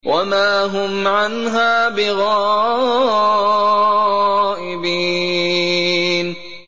وَمَا هُمْ عَنْهَا بِغَائِبِينَ